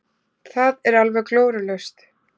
Það er alveg glórulaust.